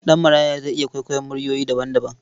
Ɗanmaraya zai iya kwaikwayon muryoyi daban-daban.